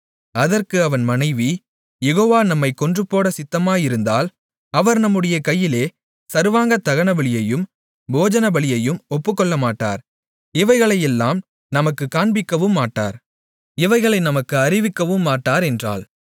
அதற்கு அவன் மனைவி யெகோவா நம்மைக் கொன்றுபோடச் சித்தமாயிருந்தால் அவர் நம்முடைய கையிலே சர்வாங்கதகனபலியையும் போஜனபலியையும் ஒப்புக்கொள்ளமாட்டார் இவைகளையெல்லாம் நமக்குக் காண்பிக்கவுமாட்டார் இவைகளை நமக்கு அறிவிக்கவுமாட்டார் என்றாள்